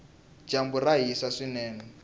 dyambu ra hisa swinene